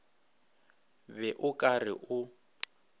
be o ka re o